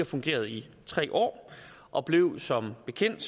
fungeret i tre år og blev som bekendt